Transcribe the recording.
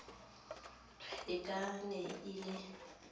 e ka ne e le